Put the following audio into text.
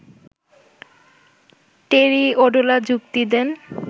টেরি Audla যুক্তি দেন